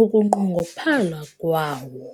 Ukunqongophala kwawo